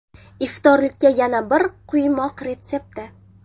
Iftorlikka yana bir quymoq retsepti.